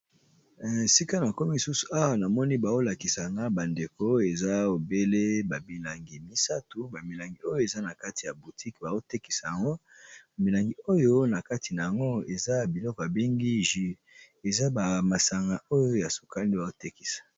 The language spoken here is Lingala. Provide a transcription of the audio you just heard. Sika na komi susu awa namoni baolakisa na bandeko eza ebele babilangi misato bamilangi oyo eza na kati ya boutique baotekisa yango bamilangi oyo na kati na yango eza biloko babengi jure eza bamasanga oyo ya sokale baotekisa.